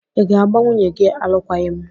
Ị́ ga-agba nwunye gị alụkwaghịm?